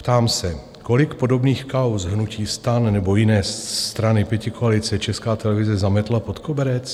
Ptám se: Kolik podobných kauz hnutí STAN nebo jiné strany pětikoalice Česká televize zametla pod koberec?